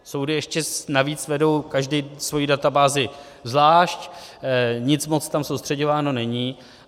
Soudy ještě navíc vedou každý svoji databázi zvlášť, nic moc tam soustřeďováno není.